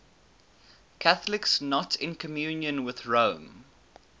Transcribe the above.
catholics not in communion with rome